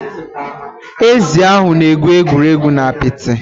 Ezi ahụ na egwuregwu na apịtị.